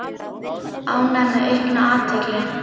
Ánægð með aukna athygli